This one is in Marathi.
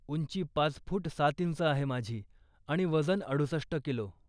उंची पाच फूट सात इंच आहे माझी आणि वजन अडुसष्ट किलो.